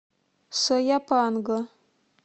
сояпанго